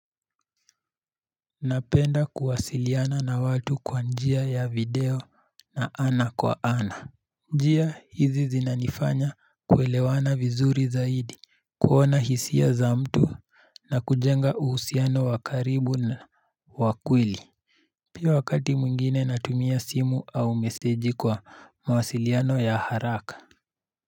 Napenda kuwasiliana na watu kwa njia ya video ya ana kwa ana. Njia hizi zinanifanya kuelewana vizuri zaidi kuona hisia za mtu na kujenga uhusiano wakaribu na wakweli. Pia wakati mwingine natumia simu au meseji kwa mawasiliano ya haraka.